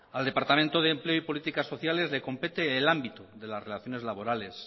al departamento de empleo y políticas sociales le compete el ámbito de las relaciones laborales